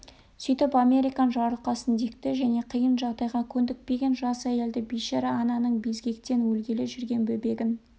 сөйтіп американ жарылқасын дикті және қиын жағдайға көндікпеген жас әйелді бейшара ананың безгектен өлгелі жүрген бөбегін